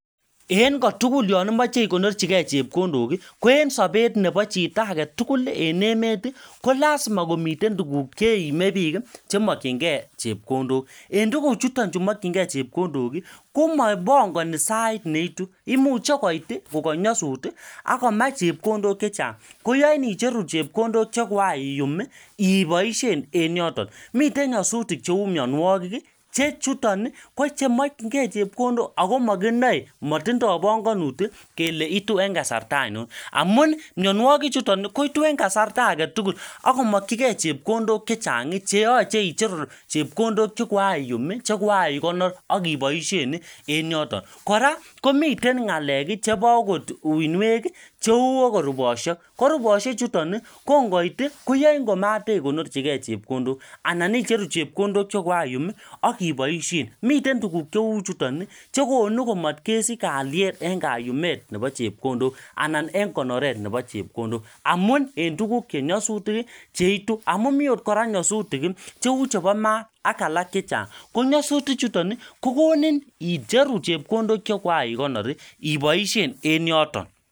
En kotugul yon imoche igonorchige chepkondok, ko en sobet yon imoche chito agetugul en emet kolasima komiten tuguk che mokyinge chepkondok. En tuguchuton chu mokyinge chepkondok, komapangani sait ne itu. Imuche koit kokanyasut ak komach chepkondok che chang, koyoin icheru chepkondok che kogaiyum iboisien en yoton. Miten nyasutik cheu mianwogik che chuton ko chemokyinge chepkondok ago makinae, matindo panganut kele itu en kasarta ainon. Amun mianwogichuton kochutu en kasarta age tugul ak komakyike chepkondok che chang, che yoche icheru chepkondok che kogaiyum che kogaikonor ak iboisien en yoton. Kora komiten ngalek chebo agot uinwek cheu ogot rubosiek. Ko rubosiechuto kongoit koyain komatainyorchige chepkondok. Anan icheru chepkondok chekoaiyum ak iboisien. Miten tuguk chechuton chekonu komatkesich kalyet en kayumet nebochepkondok anan en konoret nebo chepkondok amun en tuguk chenyasutik cheitu amun mi otkora nyasutik cheu chebo ma ak alak che chang. Ko nyasutichuton kokoninin icheru chepkondok che kogaigonor iboisien en yoton.